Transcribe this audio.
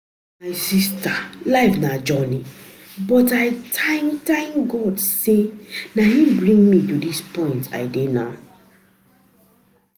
My sister life na journey but I thank thank God say na im bring me to dis point I dey now